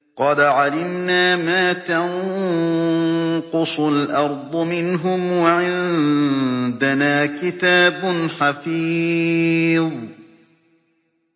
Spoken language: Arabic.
قَدْ عَلِمْنَا مَا تَنقُصُ الْأَرْضُ مِنْهُمْ ۖ وَعِندَنَا كِتَابٌ حَفِيظٌ